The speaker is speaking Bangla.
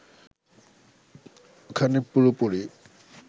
ওখানে পুরোপুরি